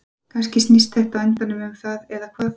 Kannski snýst þetta á endanum um það eða hvað?